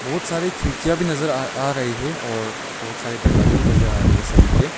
बहोत सारी खिड़कियां भी नजर आ आ रही है और बहुत सारे दरवाजे भी नजर आ रहे है सभी के।